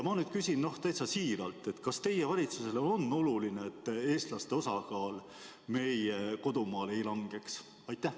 Ma küsin nüüd täitsa siiralt: kas teie valitsusele on oluline, et eestlaste osakaal meie kodumaal ei langeks?